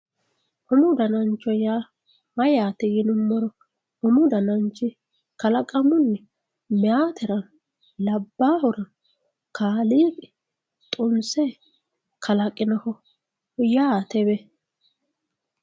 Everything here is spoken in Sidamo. umu danancho yaa mayyaate yinummoro umu dananchi kalaqamunni mayeetera labbaahura kaliiqii xummise kalaqinoho yaatewe